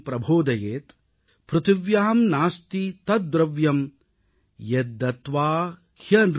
पृथिव्यां नास्ति तद्द्रव्यं यद्दत्त्वा ह्यनृणी भवेत् ||